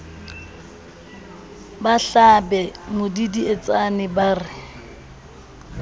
ba hlabe modidietsane ba re